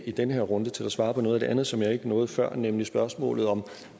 i den her runde til at svare på noget af det andet som jeg ikke nåede før nemlig spørgsmålet om